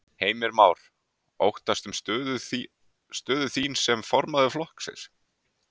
Heimir Már: Óttastu um stöðu þín sem formaður flokksins?